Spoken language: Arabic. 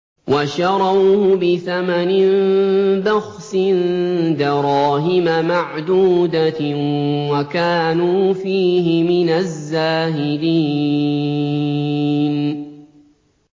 وَشَرَوْهُ بِثَمَنٍ بَخْسٍ دَرَاهِمَ مَعْدُودَةٍ وَكَانُوا فِيهِ مِنَ الزَّاهِدِينَ